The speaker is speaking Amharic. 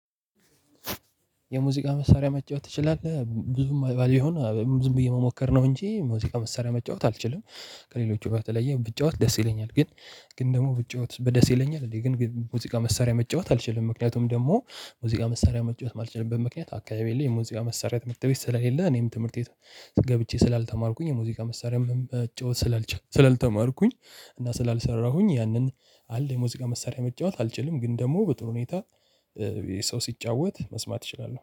የሙዚቃ መሳሪያ መጫወት ትችላለህ ብዙም ባይሆን ዝም ብዬ መሞከር ነው እንጂ ሙዚቃ መስሪያ መጫወት አልችልም። ከሌሎቹ በተለየ ብጫወት ደስ ይለኛል ግን። ግን ደግሞ ብጫወት በደስ ይለኛል እንዴ ግን ሙዚቃ መሳሪያ መጫወት አልችልም። ምክንያቱም ደግሞ ሙዚቃ መሳሪያ መጫወት ማልችልበት ምክንያት አካባቢ የለም። የሙዚቃ መሳሪያ ትምህርት ቤት ስለሌለ እኔም ትምህርቴ ገብቼ ስላልተማርኩኝ የሙዚቃ መሳሪያም መጫወት ስላልተማርኩኝ እና ስላልሰራሁኝ ያንን አለ የሙዚቃ መሳሪያ መጫወት አልችልም ግን ደግሞ በጥሩ ሁኔታ። ሰው ሲጫወት መስማት እችላለሁ